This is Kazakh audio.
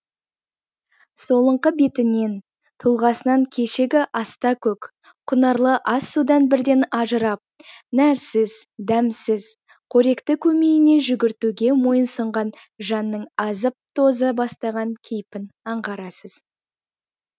солыңқы бетінен тұлғасынан кешегі аста төк құнарлы ас судан бірден ажырап нәрсіз дәмсіз қоректі көмейіне жүгіртуге мойынсұнған жанның азып тоза бастаған кейпін аңғарасыз